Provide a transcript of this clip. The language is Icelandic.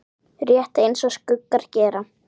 Rétt eins og skuggar gera.